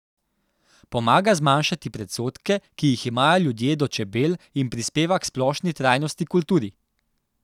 Pomaga zmanjšati predsodke, ki jih imajo ljudje do čebel, in prispeva k splošni trajnostni kulturi.